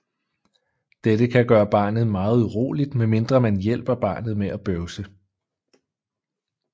Dette kan gøre barnet meget uroligt medmindre man hjælper barnet med at bøvse